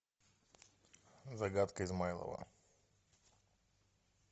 загадка измайлова